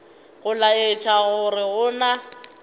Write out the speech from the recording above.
go laetša gore go na